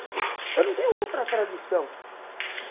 Eu não tenho outra tradição.